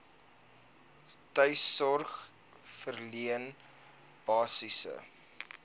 tuissorg verleen basiese